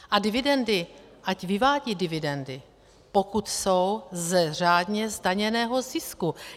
A dividendy, ať vyvádějí dividendy, pokud jsou z řádně zdaněného zisku.